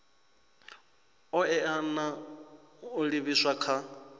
oea na u livhiswa kha